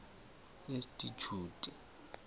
institjhute